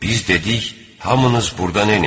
Biz dedik: "Hamınız burdan enin!